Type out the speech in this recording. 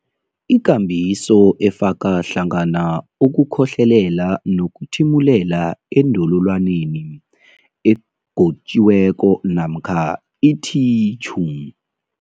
ikambiso efaka hlangana ukukhohlelela nokuthimulela endololwaneni egotjiweko namkha ithitjhu.